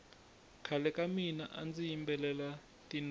khale ka mina andzi yimbelela tinoro